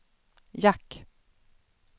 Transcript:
jack